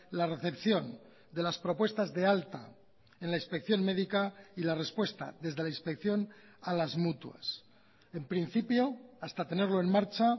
la recepción de las propuestas de alta en la inspección médica y la respuesta desde la inspección a las mutuas en principio hasta tenerlo en marcha